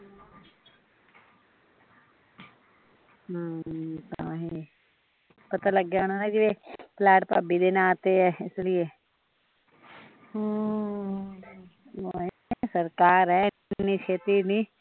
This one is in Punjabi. ਪਤਾ ਲੱਗ ਗਿਆ ਹੁਣਾ ਜਿਵੇ ਫਲੈਟ ਭਾਬੀ ਦੇ ਨਾਂ ਤੇ ਐ ਇਸ ਲੀਏ ਅਮ, ਸਰਕਾਰ ਐ ਏਨੀ ਛੇਤੀ ਨੀ